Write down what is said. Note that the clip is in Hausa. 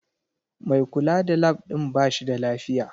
Mai kula da Lab din ba shi da lafiya